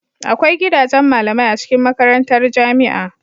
Agwai gidajen malamai a cikin makarantar jamia